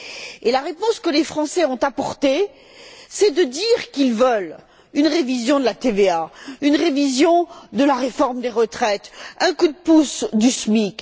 Et la réponse que les Français ont apportée, c'est de dire qu'ils veulent une révision de la TVA, une révision de la réforme des retraites, un coup de pouce au SMIC.